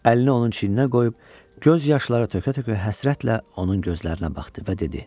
Əlini onun çiyninə qoyub, göz yaşları tökə-tökə həsrətlə onun gözlərinə baxdı və dedi: